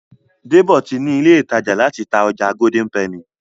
Debo tí ní ilé ìtàjà láti tá ọjà Golden penny.